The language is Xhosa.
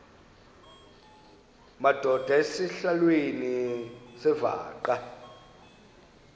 madod asesihialweni sivaqal